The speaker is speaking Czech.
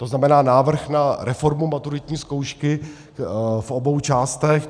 To znamená návrh na reformu maturitní zkoušky v obou částech.